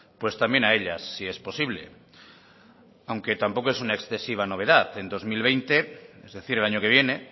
pues también a ellas si es posible aunque tampoco es una excesiva novedad en dos mil veinte es decir el año que viene